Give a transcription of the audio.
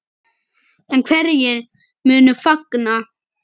En hverjir munu fagna?